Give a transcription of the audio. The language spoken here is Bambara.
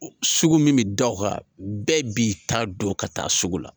Sugu min bɛ da o kan bɛɛ b'i ta don ka taa sugu la